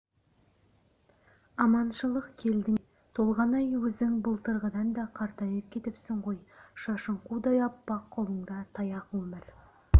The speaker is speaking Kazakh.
аманшылық келдің бе толғанай өзің былтырғыдан да қартайып кетіпсің ғой шашың қудай аппақ қолыңда таяқ өмір